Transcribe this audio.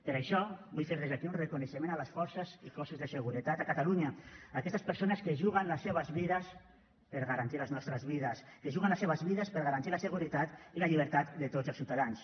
per això vull fer des d’aquí un reconeixement a les forces i cossos de seguretat a catalunya aquestes persones que es juguen les seues vides per a garantir les nostres vides que es juguen les seues vides per a garantir la seguretat i la llibertat de tots els ciutadans